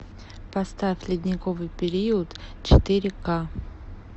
поставь ледниковый период четыре ка